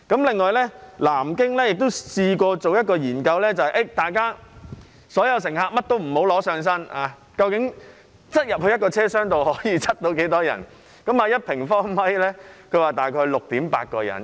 此外，南京亦做過一項研究，就是假設所有乘客不攜帶任何物品，一個車廂可以擠進多少人，結果是1平方米可站大約 6.8 人。